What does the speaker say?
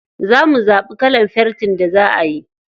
Za mu zaɓi kalar fentin da za ayi.